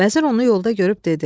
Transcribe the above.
Vəzir onu yolda görüb dedi.